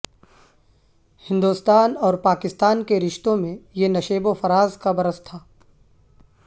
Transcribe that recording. ہندوستان اور پاکستان کے رشتوں میں یہ نشیب و فراز کا برس تھا